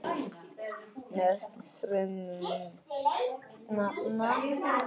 Nöfn frumefnanna.